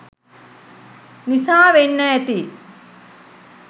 නිසා වෙන්න ඇති.